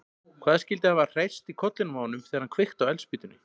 Hvað skyldi hafa hrærst í kollinum á honum þegar hann kveikti á eldspýtunni?